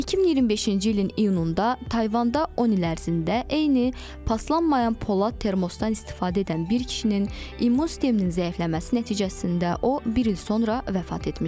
2025-ci ilin iyununda Tayvanda 10 il ərzində eyni paslanmayan polad termostan istifadə edən bir kişinin immun sisteminin zəifləməsi nəticəsində o bir il sonra vəfat etmişdi.